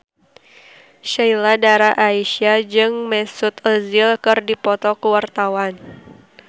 Sheila Dara Aisha jeung Mesut Ozil keur dipoto ku wartawan